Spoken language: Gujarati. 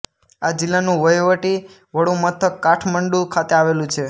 આ જિલ્લાનું વહીવટી વડું મથક કાઠમંડુ ખાતે આવેલું છે